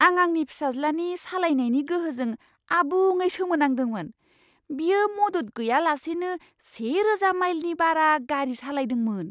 आं आंनि फिसाज्लानि सालायनायनि गोहोजों आबुङै सोमोनांदोंमोन। बियो मदद गैयालासेनो सेरोजा माइलनि बारा गारि सालायदोंमोन!